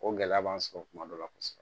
O gɛlɛya b'an sɔrɔ kuma dɔ la kosɛbɛ